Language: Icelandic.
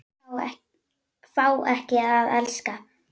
Fá ekki að elska.